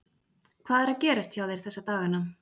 Hvað er að gerast hjá þér þessa dagana?